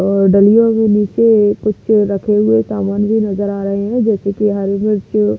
नीचे कुछ रखे हुए सामान भी नज़र आ रहे हैं जैसे कि हरी मिर्च--